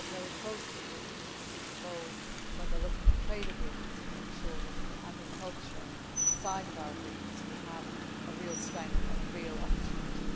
I work very closely with Commissioner Fischer Boel when looking at trade agreements to make sure that the agriculture side of our agreements represents a real strength and a real opportunity.